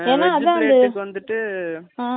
veg plate நீங்க வாங்கிட்டீங்கன்னா non veg சாப்பிட முடியாது